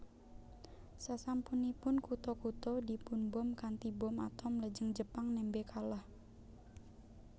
Sasampunipun kutha kutha dipunbom kanthi bom atom lajeng Jepang nembe kalah